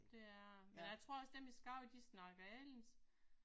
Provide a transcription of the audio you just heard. Det er men jeg tror også dem i Skagen de snakker anderledes